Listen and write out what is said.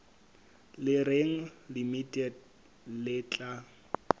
le reng limited le tla